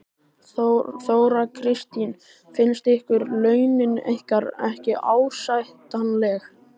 Þóra Kristín: Finnst ykkur launin ykkar ekki ásættanleg?